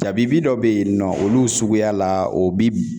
Jabibi dɔ be yen nɔ olu suguya la o bi b